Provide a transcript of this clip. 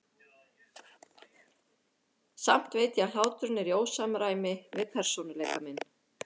Samt veit ég að hláturinn er í ósamræmi við persónuleika minn.